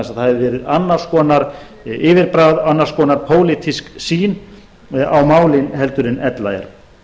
verið annars konar yfirbragð annars konar pólitísk sýn á málin heldur en ella er